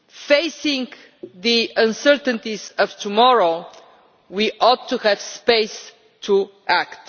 Facing the uncertainties of tomorrow, we ought to have space